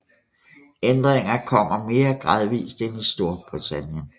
Ændringerne kom mere gradvist end i Storbritannien